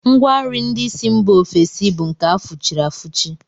Ngwanri ndị si mba ofesi bụ nke a fụchiri afụchi